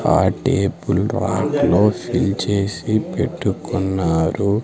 Party పుల్రాంక్లో fill చేసి పెట్టుకున్నారు.